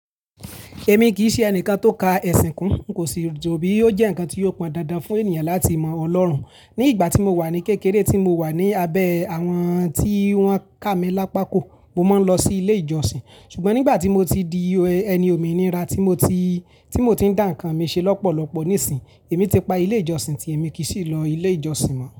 Èmi kì í ṣe ẹnìkan tó ka ẹ̀sìn kún, n kò sì rò bí ó jẹ́ ǹkan tí yóò pọn dandan fún ènìyàn láti mọ Ọlọ́run. Ní ìgbà tí mo wà ní kékeré, tí mo wà ní abẹ́ àwọn tí wọ́n ká mi lápá kó, mo máa ń lọ sí ilé ìjọsìn. Ṣùgbọ́n nígbà tí mo ti di ẹni òmìnira tí mo ti, tí mo ti ń dà ǹkan mi ṣe lọ́pọ̀lọpọ̀ nísìínyi, èmi ti pa ilé ìjọsìn tí èmi kì í sì lọ ilé ìjọsìn mọ́